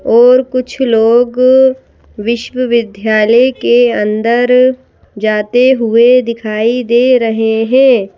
और कुछ लोग विश्वविद्यालय के अंदर जाते हुए दिखाई दे रहे हैं।